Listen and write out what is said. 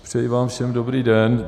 Přeji vám všem dobrý den.